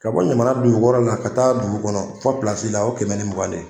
Ka bɔ jamana dugukɔrɔ la ka taa dugu kɔnɔ fɔ pilasi la o ye kɛmɛ ni mugan de ye